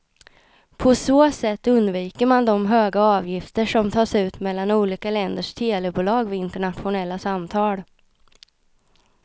På så sätt undviker man de höga avgifter som tas ut mellan olika länders telebolag vid internationella samtal.